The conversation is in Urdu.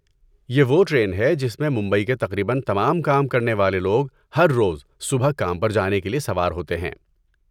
یہ وہ ٹرین ہے جس میں ممبئی کے تقریباً تمام کام کرنے والے لوگ ہر روز صبح کام پر جانے کے لیے سوار ہوتے ہیں۔